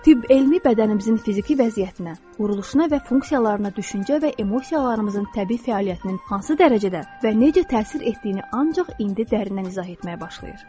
Tibb elmi bədənimizin fiziki vəziyyətinə, quruluşuna və funksiyalarına düşüncə və emosiyalarımızın təbii fəaliyyətinin hansı dərəcədə və necə təsir etdiyini ancaq indi dərindən izah etməyə başlayır.